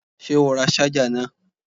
Ṣé o ra ṣájà náà?